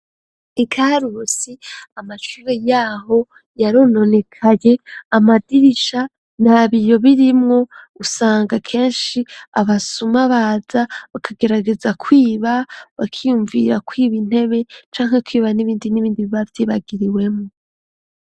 Ikarusi amacure yaho yarononekaye amadirisha n abiyo birimwo usanga kenshi abasuma baza bakagerageza kwiba bakiyumvira ko ibintebe canke kwiba n'ibindi n'ibindi bavyibagiriwemo.